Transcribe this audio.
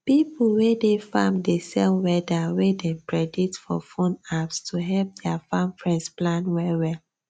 pipo wey dey farm dey sell weather wey dem predict for phone apps to help dia farm friends plan well well